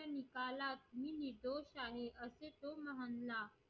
निकालात मी निर्दोष आहे असे तो म्हणला